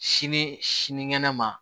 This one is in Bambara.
Sini sinikɛnɛ ma